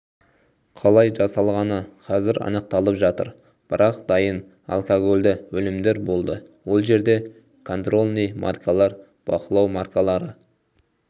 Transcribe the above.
қалай жасалғаны қазір анықталып жатыр бірақ дайын алкогольді өнімдер болды ол жерде контрольный маркалар бақылау маркалары